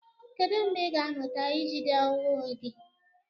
Kedu mgbe ị ga-amụta ijide onwe gị?